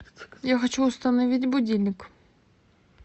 я хочу установить будильник